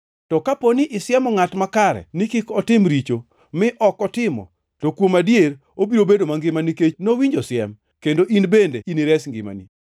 To kaponi isiemo ngʼat makare ni kik otim richo, mi ok otimo, to kuom adier, obiro bedo mangima nikech nowinjo siem, kendo in bende inires ngimani.